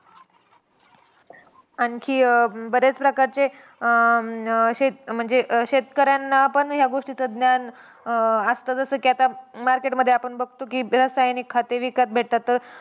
आणखी अं बऱ्याच प्रकारचे अं म्हणजे, शेत शेतकऱ्यांना पण या गोष्टीचं ज्ञान अं असतं. जसं की आता market मध्ये आपण बघतो की रासायनिक खते विकत भेटतात. तर